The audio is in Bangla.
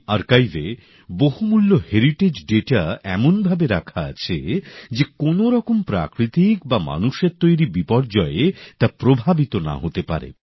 এই আর্কাইভে বহুমূল্য হেরিটেজ সংক্রান্ত তথ্য এমনভাবে রাখা আছে যে কোনো রকম প্রাকৃতিক বা মানুষের তৈরি বিপর্যয়ে তা প্রভাবিত হবে না